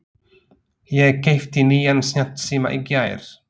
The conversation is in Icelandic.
Ég keypti nýjan snjallsíma í gær.